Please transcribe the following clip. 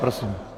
Prosím.